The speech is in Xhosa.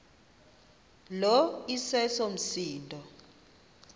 lo iseso msindo